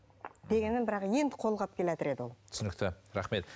дегенмен бірақ енді қолға алып келеатыр еді ол түсінікті рахмет